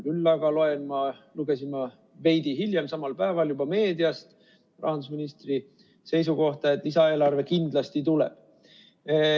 Küll aga lugesin ma veidi hiljem samal päeval juba meediast rahandusministri seisukohta, et lisaeelarve kindlasti tuleb.